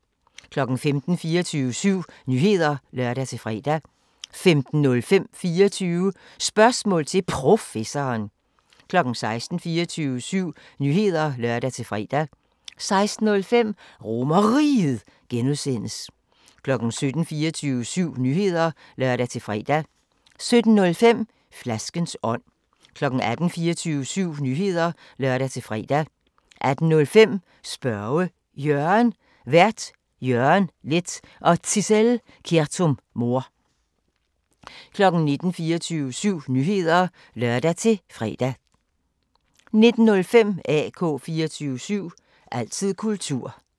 15:00: 24syv Nyheder (lør-fre) 15:05: 24 Spørgsmål til Professoren 16:00: 24syv Nyheder (lør-fre) 16:05: RomerRiget (G) 17:00: 24syv Nyheder (lør-fre) 17:05: Flaskens ånd 18:00: 24syv Nyheder (lør-fre) 18:05: Spørge Jørgen Vært: Jørgen Leth og Zissel Kjertum-Mohr 19:00: 24syv Nyheder (lør-fre) 19:05: AK 24syv – altid kultur